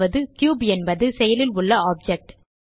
cube என்பது செயலில் உள்ள ஆப்ஜெக்ட்